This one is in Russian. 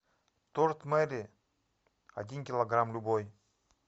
торт мери один килограмм любой